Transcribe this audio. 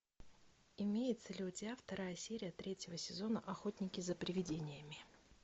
имеется ли у тебя вторая серия третьего сезона охотники за привидениями